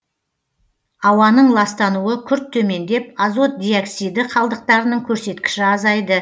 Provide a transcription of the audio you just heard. ауаның ластануы күрт төмендеп азот диоксиді қалдықтарының көрсеткіші азайды